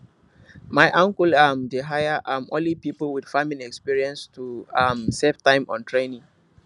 my uncle um dey hire um only people with farming experience to um save time on training